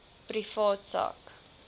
privaat sak